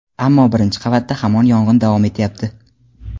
ammo birinchi qavatda hamon yong‘in davom etyapti.